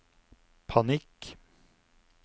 panikk